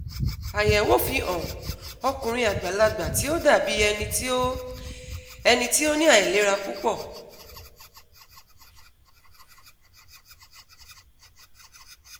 Ayẹwo fi hàn ọkunrin agbalagba ti o dabi ẹni ti o ẹni ti o ni ailera pupọ